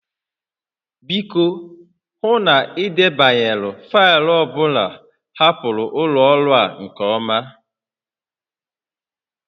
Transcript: Biko, hụ na ị debanyere faịlụ ọ bụla hapụrụ ụlọ ọrụ a nke ọma